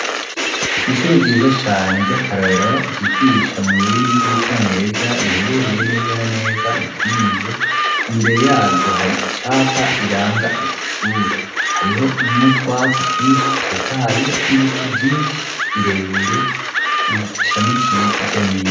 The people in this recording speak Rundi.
Kw'ishure ryiza cane ry'akarora ryigisha mu rurimi rw'icongereza riherereye neza naneza mu kinindo imbere yaryo hari icapa riranga ijyo shure hariho n'utwatsi twinshi tutotaye n'ibiti vyinshi birebire bishamikiye hirya nino.